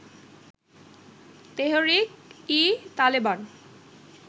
Tehrik e Taliban